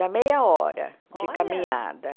Dá meia hora de caminhada.